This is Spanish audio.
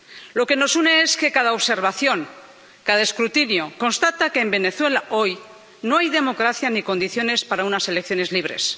Lo que nos une es que cada observación, cada escrutinio, constata que, en Venezuela hoy, no hay democracia ni condiciones para unas elecciones libres.